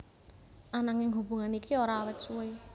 Ananging hubungan iki ora awet suwé